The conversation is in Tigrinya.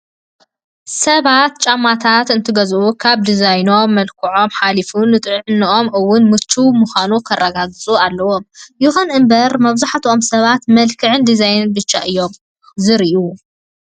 ሰባት ጫማታት እንትገዝኡ ካብ ድዛይኖምን መልክዓኦም ሓሊፉ ንጥዕነኦም እውን ምችዋት ምኳኖም ከረጋግፁ ኣለዎም። ይኹን እምበር መብዛሕቲኦም ሰባት መልክዕ ድዛይንን ብቻ እዮም ዝሪኡ።